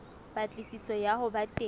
patlisiso ya ho ba teng